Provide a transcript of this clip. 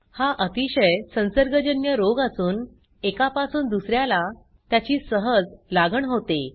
हा अतीशय संसर्गजन्य रोग असून एकापासून दुस याला त्याची सहज लागण होते